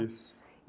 Isso.